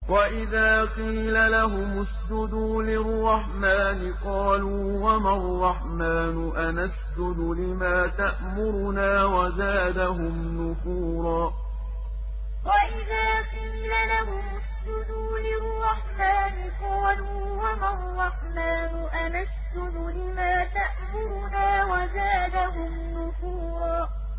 وَإِذَا قِيلَ لَهُمُ اسْجُدُوا لِلرَّحْمَٰنِ قَالُوا وَمَا الرَّحْمَٰنُ أَنَسْجُدُ لِمَا تَأْمُرُنَا وَزَادَهُمْ نُفُورًا ۩ وَإِذَا قِيلَ لَهُمُ اسْجُدُوا لِلرَّحْمَٰنِ قَالُوا وَمَا الرَّحْمَٰنُ أَنَسْجُدُ لِمَا تَأْمُرُنَا وَزَادَهُمْ نُفُورًا ۩